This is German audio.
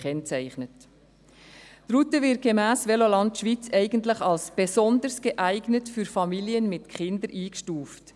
Die Route wird gemäss Veloland Schweiz eigentlich als «besonders geeignet für Familien mit Kindern» eingestuft.